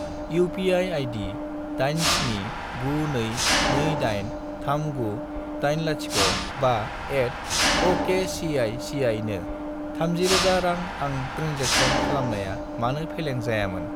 UPI. आइदि 87922839805@okcici नो 30000 रां आं ट्रेन्जेक्सन खालामनाया मानो फेलें जायामोन?